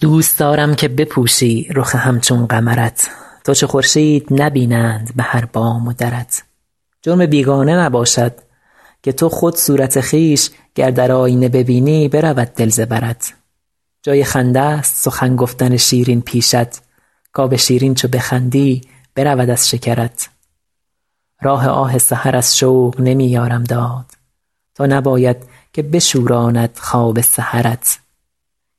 دوست دارم که بپوشی رخ همچون قمرت تا چو خورشید نبینند به هر بام و درت جرم بیگانه نباشد که تو خود صورت خویش گر در آیینه ببینی برود دل ز برت جای خنده ست سخن گفتن شیرین پیشت کآب شیرین چو بخندی برود از شکرت راه آه سحر از شوق نمی یارم داد تا نباید که بشوراند خواب سحرت